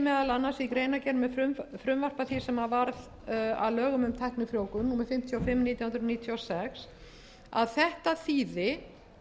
annars í greinargerð með frumvarpi því sem varð að lögum um tæknifrjóvgun númer fimmtíu og fimm nítján hundruð níutíu og sex að þetta þýði